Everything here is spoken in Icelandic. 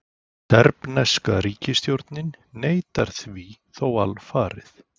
Serbneska ríkisstjórnin neitar því þó alfarið